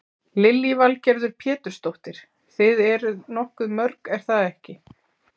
Lillý Valgerður Pétursdóttir: Þið eruð nokkuð mörg er það ekki?